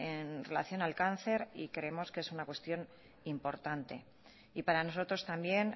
en relación al cáncer y creemos que es una cuestión importante y para nosotros también